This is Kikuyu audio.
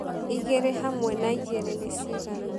igĩrĩ hamwe na igĩrĩ ni cĩgana